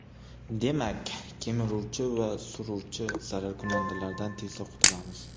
Demak ... Kemiruvchi va suruvchi zararkunandalardan tezda qutulamiz.